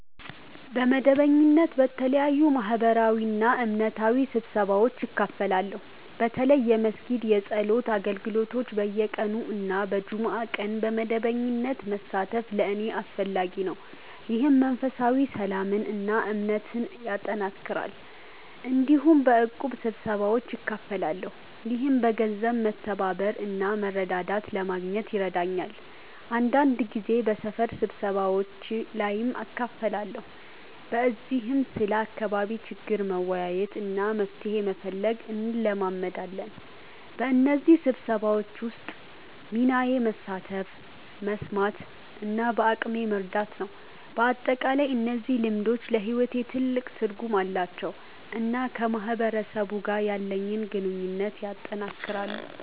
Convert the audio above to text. በመደበኛነት በተለያዩ ማህበራዊና እምነታዊ ስብሰባዎች እካፈላለሁ። በተለይ የመስጊድ የጸሎት አገልግሎቶች በየቀኑ እና በጁምዓ ቀን በመደበኛነት መሳተፍ ለእኔ አስፈላጊ ነው፣ ይህም መንፈሳዊ ሰላምን እና እምነትን ያጠናክራል። እንዲሁም በእቁብ ስብሰባዎች እካፈላለሁ፣ ይህም በገንዘብ መተባበር እና መረዳዳት ለማግኘት ይረዳኛል። አንዳንድ ጊዜ በሰፈር ስብሰባዎች ላይም እካፈላለሁ፣ በዚህም ስለ አካባቢ ችግር መወያየት እና መፍትሄ መፈለግ እንለማመዳለን። በእነዚህ ስብሰባዎች ውስጥ ሚናዬ መሳተፍ፣ መስማት እና በአቅሜ መርዳት ነው። በአጠቃላይ እነዚህ ልምዶች ለሕይወቴ ትልቅ ትርጉም አላቸው እና ከማህበረሰብ ጋር ያለኝን ግንኙነት ያጠናክራሉ።